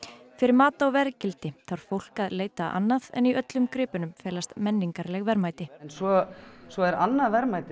fyrir mat á verðgildi þarf fólk að leita annað en í öllum gripunum felast menningarleg verðmæti svo svo er annað verðmæti